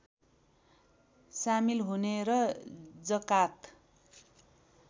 सामिल हुने र जकात